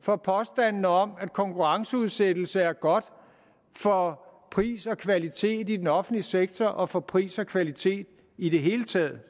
for påstandene om at konkurrenceudsættelse er godt for pris og kvalitet i den offentlige sektor og for pris og kvalitet i det hele taget